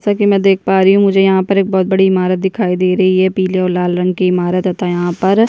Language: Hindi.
जैसा की मे देख पा रही हूँ मुझे यहाँ पर बहोत बड़ी इमारत दिखाई दे रही है पिले और लाल रंग की इमारत तथा यहाँ पर--